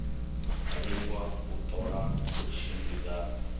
lingwa u ṱola u tshimbidzana